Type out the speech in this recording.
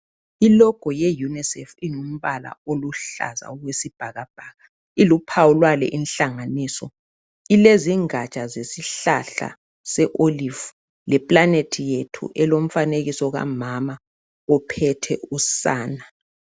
i logo ye UNICEF ingumbala oluhlaza okwesibhakabhaka iluphawu lwale inhlanganiso ilezingatsha zesihlahla se olive le planet yethu elomfanekiso kamama ophethe usana